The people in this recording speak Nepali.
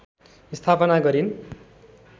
स्थापना गरिन्